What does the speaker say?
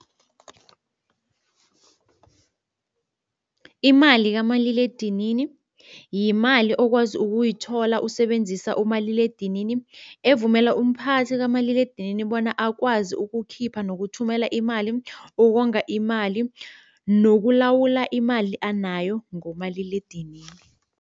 Imali kamaliledinini yimali okwazi ukuyithola usebenzisa umaliledinini evumela umphathi kamaliledinini bona akwazi ukukhipha nokuthumela imali, ukonga imali nokulawula imali anayo ngomaliledinini.